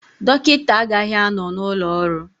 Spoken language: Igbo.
Dọkịta agaghị anọ n'ụlọ ọrụ